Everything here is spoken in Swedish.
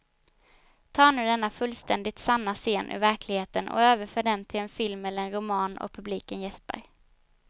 Ta nu denna fullständigt sanna scen ur verkligheten och överför den till en film eller en roman och publiken jäspar.